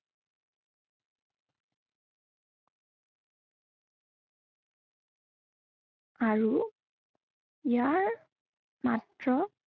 আৰু ইয়াৰ, মাত্ৰ